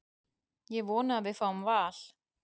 Ég vona að við fáum Val.